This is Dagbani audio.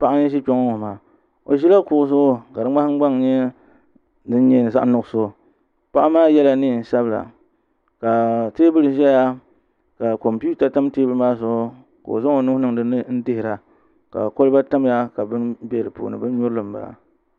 Paɣa n ʒi kpɛ ŋo maa o ʒila kuɣu zuɣu ka di nahangbaŋ nyɛ zaɣ nuɣso paɣa maa yɛla neen sabila ka teebuli ʒɛya ka kompita tam teebuli maa zuɣu ka o zaŋ o nuu niŋ dinni n dihira ka kolba tamya ka bini bɛ di puuni bin nyurili n bala